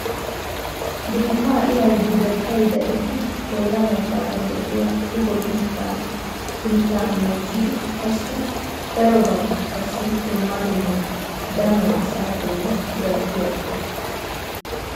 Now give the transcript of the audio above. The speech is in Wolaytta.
Biitta iray buketay daridi bolla baggaara de'iya shugo biitta miitta meccidi qassi daro baggi qassi dumma dumma danuwaa asa bolli gatidi aggees.